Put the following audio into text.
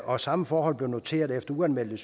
og samme forhold bliver noteret efter uanmeldte